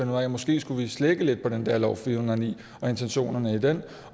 man måske skulle slække lidt på den der lov fire hundrede og ni og intentionerne i den